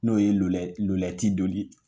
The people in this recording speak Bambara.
N'o ye donni